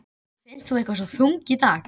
Mér finnst þú eitthvað svo þung í dag.